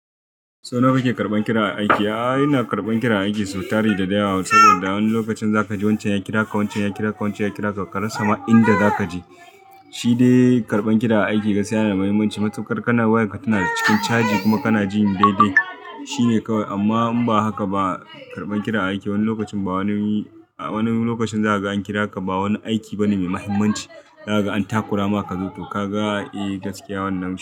Sau nawa kake karɓan kira aiki? Aa, ina karɓan kira aiki sau tari da dare saboda wani lokacin zaka ji wancan ya kira ka, wancan ya kira ka, wancan ya kira ka ka rasa ma inda zaka je. Shi dai karɓan kira a aiki gaskiya yana da mahimmanci. Matukar kana wayarka tana cikin caji kuma kana jini daidai shine kawai. Amma in ba haka ba, karɓan kira aiki wani lokacin ba wani lokacin zaka ga an kira ka ba wani aiki ba ne mai mahimmanci. Zaka ga an takura ma kazo to ka ga, eh gaskiya wannan nan.